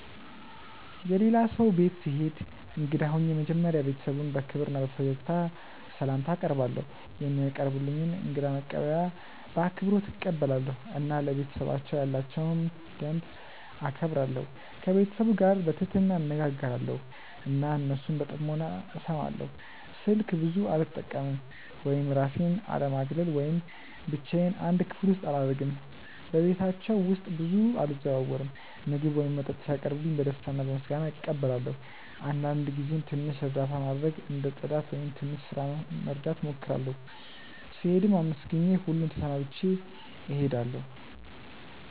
የሌላ ሰው ቤት ስሄድ እንግዳ ሆኜ መጀመሪያ ቤተሰቡን በክብር እና በፈገግታ ስላምታ አቀርባለው፧ የሚያቀርቡልኝን እንግዳ መቀበያ በአክብሮት እቀበላለሁ እና ለቤተሰባቸው ያላቸውን ደንብ እከብራለሁ። ከቤተሰቡ ጋር በትህትና እነጋገራለው እና እነሱን በጥሞና እስማለው። ስልክ ብዙ አለመጠቀም ወይም እራሴን አለማግለል ወይም ብቻዮን አንድ ክፍል አላረግም በቤታቸው ውስጥ ብዙ አልዘዋወርም። ምግብ ወይም መጠጥ ሲያቀርቡልኝ በደስታ እና በምስጋና እቀበላለው አንዳንድ ጊዜም ትንሽ እርዳታ ማድረግ እንደ ጽዳት ወይም ትንሽ ስራ መርዳት እሞክራለሁ። ስሄድም አመስግኜ ሁሉን ተሰናብቼ እሄዳለሁ።